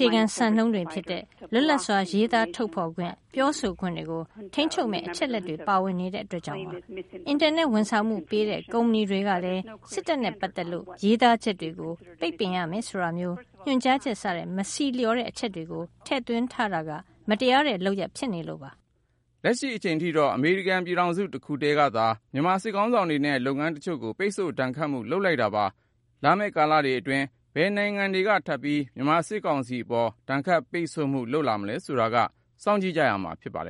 ြေခံစံနှုန်းတွေဖြစ်တဲ့ လွတ်လပ်စွာ ရေးသားထုတ်ဖေါ်ခွင့် ပြောဆိုခွင့်တွေကို ထိန်းချုပ်မယ့် အချက်အလက်တွေ ပါဝင်နေတာကြောင့်ပါ။ အင်တာနက် ဝန်ဆောင်မှုပေးတဲ့ကုမဏီ တွေကလည်း စစ်တပ်နဲ့ပတ်သက်လို့ ရေးသားချက်တွေကို ပိတ်ပင်ရမယ်ဆိုတာမျိုး ညွှန်ကြားချက် စတဲ့ မဆီလျှော်တဲ့ အချက်တွေ ထည့်သွင်းထားတာက မတရားတဲ့လုပ်ရပ်ဖြစ်နေလို့ပါ " လက်ရှိ အချိန်ထိတော့ အမေရိကန်ပြည်ထောင်စု တခုထဲကသာ မြန်မာစစ်ခေါင်းဆောင်တွေနဲ့ လုပ်ငန်းတချို့ကို ပိတ်ဆို့ဒဏ်ခတ်မှု လုပ်လိုက်တာပါ။ လာမယ့် ကာလတွေအတွင်း ဘယ်နိုင်ငံတွေက ထပ်ပြီး မြန်မာစစ်ကောင်စီအပေါ် ဒဏ်ခတ်ပိတ်ဆို့မှု လုပ်လာမလဲဆိုတာက စောင့်ကြည့်ရမှာ ဖြစ်ပါတယ်